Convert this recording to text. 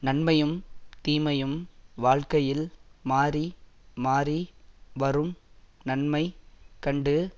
நன்மையும் தீமையும் வாழ்க்கையில் மாறி மாறி வரும் நன்மை கண்டு